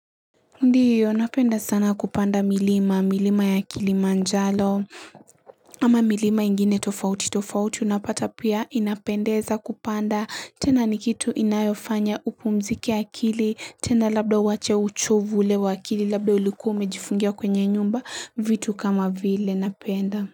Ndiyo napenda sana kupanda milima, milima ya kilimanjaro ama milima ingine tofauti tofauti unapata pia inapendeza kupanda tena nikitu inayofanya upumzike akili tena labda uache uchovu ule wa akili labda ulikua ume jifungia kwenye nyumba vitu kama vile napenda.